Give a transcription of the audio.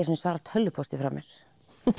sinni svarað tölvupósti frá mér